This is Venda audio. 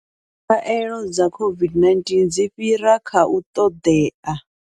Khaelo dza COVID-19 dzi fhira kha u ṱoḓea.